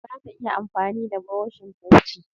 Zata iya amfani da burushin fenti?